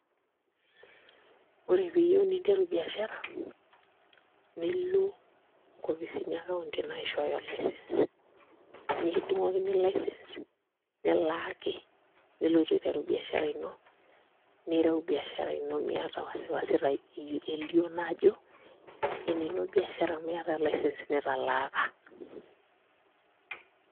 Ore pee iyieu ninteru biashara nilo nkopisini e county naishooyo license nikidung'okini license nilaaki nilotu aiteru biashara ino nireu biashara ino miata wasi wasi elioo naa ajo enino biashara amu iata license nitalaaka.